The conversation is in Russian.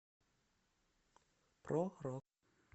про рок